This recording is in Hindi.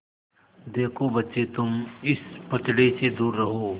देखो बच्चे तुम इस पचड़े से दूर रहो